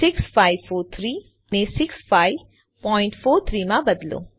6543 ને 6543 માં બદલો